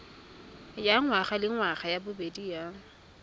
ya ngwagalengwaga ya bobedi ya